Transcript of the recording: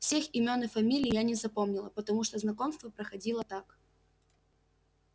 всех имён и фамилий я не запомнила потому что знакомство происходило так